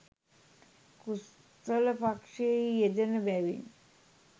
කුසල පක්‍ෂයෙහි යෙදෙන බැවින්